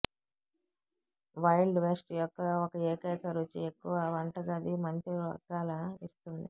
wild west యొక్క ఒక ఏకైక రుచి ఎక్కువ వంటగది మంత్రివర్గాల ఇస్తుంది